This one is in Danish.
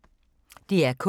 DR K